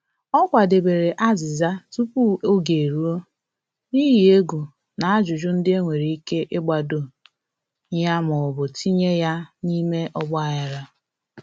Ọ kwadebere azịza tupu oge eruo, n’ihi egwu na ajụjụ ndị a nwere ike ịgbado ya ma ọ bụ tinye ya na-ime ọgba-aghara